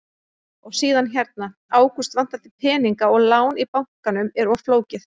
Og síðan hérna: Ágúst, vantar þig peninga og lán í bankanum er of flókið?